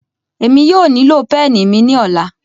Emi yóò nilo peni mi ni ọla